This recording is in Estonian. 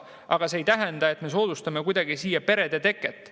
Aga see ei tähenda, et me soodustame kuidagi siin selliste perede teket.